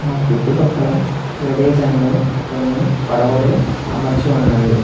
ఆ చుట్టుపక్కల ప్రదేశంలో కొన్ని పడవలు అమర్చి ఉన్నవి.